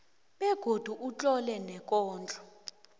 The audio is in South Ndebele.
begodu utlole neenkondlo